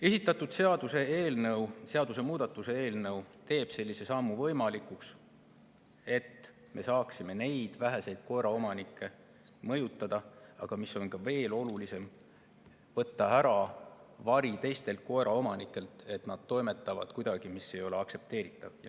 Esitatud seaduseelnõu, seaduse muutmise eelnõu, teeb selle võimalikuks, et me saame neid väheseid koeraomanikke mõjutada, aga mis veel olulisem: võtta ära vari teistelt koeraomanikelt, et nad toimetavad kuidagi millegagi, mis ei ole aktsepteeritav.